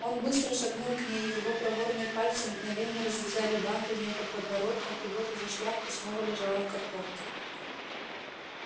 он быстро шагнул к ней его проворные пальцы мгновенно развязали бант у неё под подбородком и вот уже шляпка снова лежала в картонке